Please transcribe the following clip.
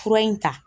Fura in ta